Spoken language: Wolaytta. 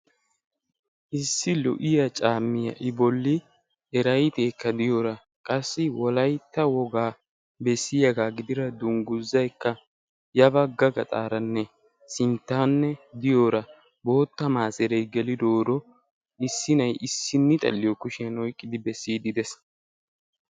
Issi lo'iyaa caammiyaa i bolli de'iyoora eraaydeekka de'iyoora qassi wolaytta wogaabaa gidida dunguzay ya bagga gaxaranne sinttanne diyoora bootta maseree gelidooro issi na'ay issini xalliyoo kushiyaan oyqqidi bessiidi dees.